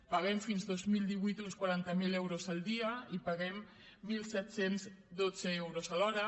paguem fins al dos mil divuit uns quaranta miler euros el dia i paguem disset deu dos euros l’hora